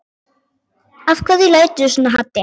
Af hverju læturðu svona Haddi?